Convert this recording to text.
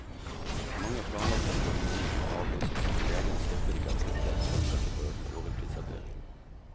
Mange planlagte operasjoner må avlyses, men legene stopper ikke akutthjelp selv om dette fører til overtidsarbeid.